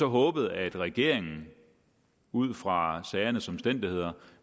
håbet at regeringen ud fra sagernes omstændigheder